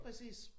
Præcis